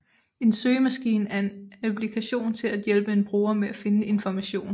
En søgemaskine er en applikation til at hjælpe en bruger med at finde information